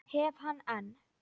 Hef hann enn.